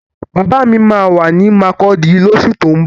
Bàbá mi máa wà ní makurdi lósù tín bọ̀